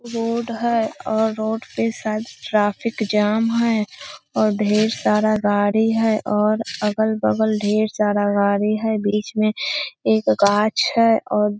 इ रोड है रोड पर शायद ट्रैफिक जाम है और ढेर सारा गाड़ी है और अगल-बगल ढेर सारा गाड़ी है और बीच में एगो गाछ है और --